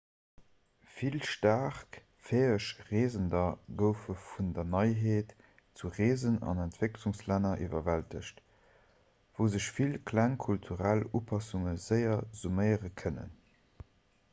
vill staark fäeg reesender goufe vun der neiheet vu reesen an entwécklungslänner iwwerwältegt wou sech vill kleng kulturell upassunge séier summéiere kënnen